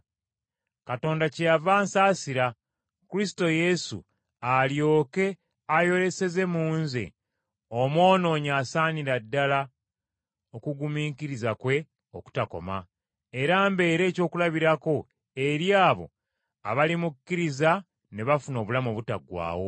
Katonda kyeyava ansaasira, Kristo Yesu alyoke ayoleseze mu nze, omwonoonyi asingira ddala okugumiikiriza kwe okutakoma, era mbeere ekyokulabirako eri abo abalimukkiriza ne bafuna obulamu obutaggwaawo.